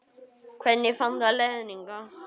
Hvernig fann það leiðina hingað?